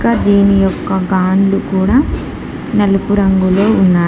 ఇంకా దీని యొక్క గాన్లు కూడ నలుపు రంగులో ఉన్నాయి.